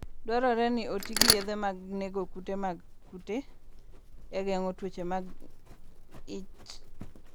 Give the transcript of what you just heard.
Dwarore ni oti gi yedhe mag nego kute mag kute e geng'o tuoche mag ich.